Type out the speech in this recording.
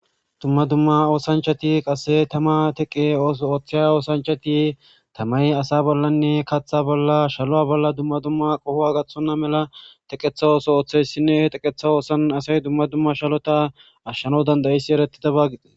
Dumma dumma oosiya oosanchchati dizayssaka keehippe bisishe deesiko.